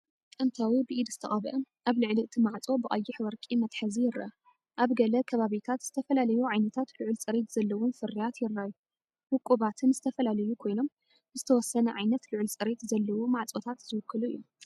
ጥንታዊ ብኢድ ዝተቐብአ፣ ኣብ ልዕሊ እቲ ማዕጾ ብቀይሕ ወርቂ መትሓዚ ይርአ። ኣብ ገለ ከባቢታት ዝተፈላለዩ ዓይነታት ልዑል ፅሬት ዘለዎም ፍርያት ይረኣዩ፣ ውቁባትን ዝተፈላለዩን ኮይኖም፣ ንዝተወሰነ ዓይነት ልዑል ፅሬት ዘለዎ ማዕፆታት ዝውክሉ እዮም።